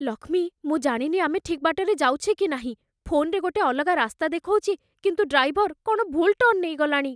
ଲକ୍ଷ୍ମୀ, ମୁଁ ଜାଣିନି ଆମେ ଠିକ୍ ବାଟରେ ଯାଉଛେ କି ନାହିଁ । ଫୋନ୍‌ରେ ଗୋଟେ ଅଲଗା ରାସ୍ତା ଦେଖଉଛି କିନ୍ତୁ ଡ୍ରାଇଭର କ'ଣ ଭୁଲ୍ ଟର୍ଣ୍ଣ ନେଇଗଲାଣି ।